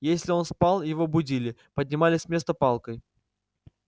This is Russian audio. если он спал его будили поднимали с места палкой